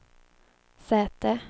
säte